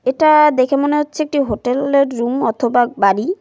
এটা দেখে মনে হচ্ছে একটি হোটেল -এর রুম অথবা বাড়ি।